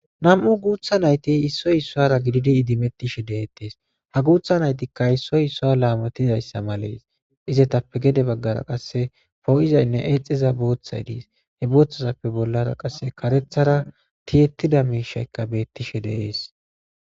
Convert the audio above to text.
Nam'u guutha naytti isoy issuwara gididi idimettishe deetes ha guutha naytti issoy issuwa laamotizayssa malees izetappe gede baggara qase po'izaynne eexiza boothay dees he boothazappe bollara qase karethara tiyettida miishaykka beetishe de'es.